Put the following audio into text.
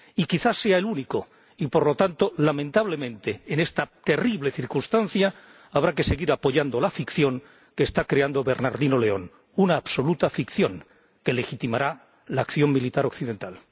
Y quizá sea el único, y, por lo tanto, lamentablemente, en esta terrible circunstancia habrá que seguir apoyando la ficción que está creando Bernardino León, una absoluta ficción que legitimará la acción militar occidental.